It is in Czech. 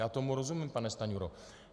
Já tomu rozumím, pane Stanjuro.